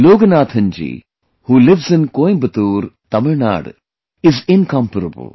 Loganathanji, who lives in Coimbatore, Tamil Nadu, is incomparable